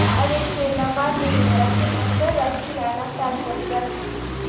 Aleksey Navalniyning rafiqasi Rossiyani tark etdi.